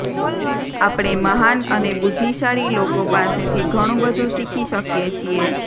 આપણે મહાન અને બુદ્ધિશાળી લોકો પાસેથી ઘણુબધુ શીખી શકીએ છીએ